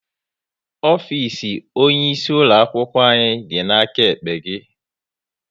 Ofisi onye isi ulo akwụkwọ anyị dị n'aka ekpe gị